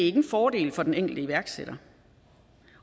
en fordel for den enkelte iværksætter